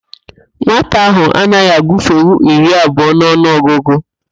Nwata ahụ anaghị agụfenwu iri abụọ n'ọnụ ọgụgụ